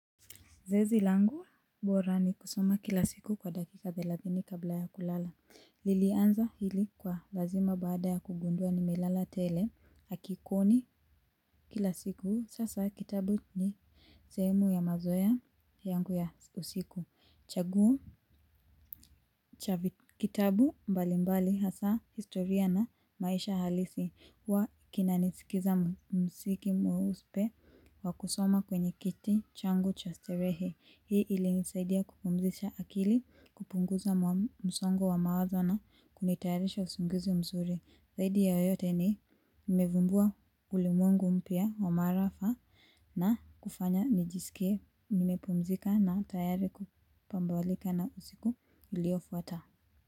Zoezi langu bora ni kusoma kila siku kwa dakika thelathini kabla ya kulala. Nilianza hili kwa lazima baada ya kugundua nimelala tele hakikoni kila siku. Sasa kitabu ni sehemu ya mazoea yangu ya usiku. Chaguo cha vitabu mbali mbali hasa historia na maisha halisi huwa kinanisikiza mziki mweuspe wa kusoma kwenye kiti changu cha sterehe. Hii ilinisaidia kupumzisha akili, kupunguza msongo wa mawazo na, kunitayarisha usingizi mzuri. Zaidi ya yote ni nimevumbua ulimwengu mpya wa maarafa na kufanya nijisikie, nimepumzika na tayari kupambalika na usiku iliofuata.